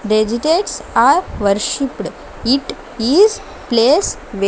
are worshipped it is place we --